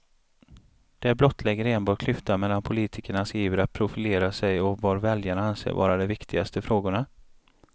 Det blottlägger enbart klyftan mellan politikernas iver att profilera sig och vad väljarna anser vara de viktigaste frågorna.